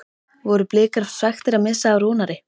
Voru Blikar svekktir að missa af Rúnari?